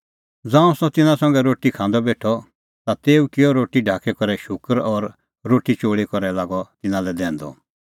ज़ांऊं सह तिन्नां संघै रोटी खांदअ बेठअ ता तेऊ किअ रोटी ढाकी करै शूकर और रोटी चोल़ी करै लागअ तिन्नां लै दैंदअ